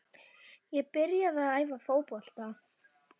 Ég get byrjað þótt það hringi engar klukkur.